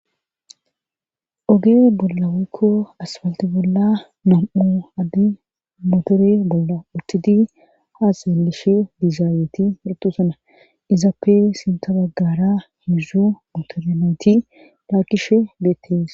Oge bolla weykko asfalti bolla nam'u addi motore bolla uttidi haaseelishe dizaayeti hidu sana izappe sinta baggara hizu motorenati lakkishe beettees.